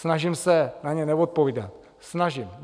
Snažím se na ně neodpovídat, snažím.